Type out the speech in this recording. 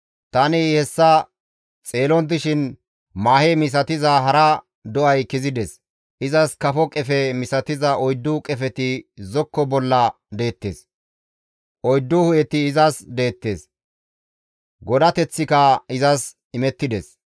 «Tani hessa xeelon dishin maahe misatiza hara do7ay kezides; izas kafo qefe misatiza oyddu qefeti zokko bolla deettes. Oyddu hu7eti izas deettes; godateththika izas imettides.